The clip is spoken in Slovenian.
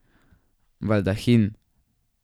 Baldahin.